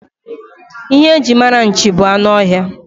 Ihe e jiri mara nchi bụ anụ ọhịa.